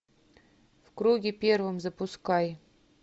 в круге первом запускай